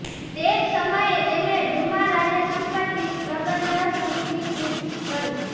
તે જ સમયે તેમણે ડુમા રાજ્ય સંપત્તિ પ્રબંધન સમિતિ કૂચ કરી